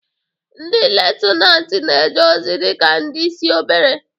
Ndị Lutenatin na-eje ozi dị ka ndị isi obere.